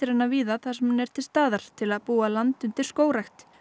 hana víða þar sem hún er til staðar til að búa land undir skógrækt